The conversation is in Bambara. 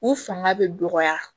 U fanga bɛ dɔgɔya